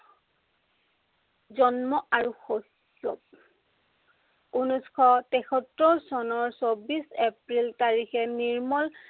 জন্ম আৰু শৌৰ্য। ঊনৈছশ তেসত্তৰ চনৰ চৌব্বিশ এপ্ৰিল তাৰিখে নিৰ্মল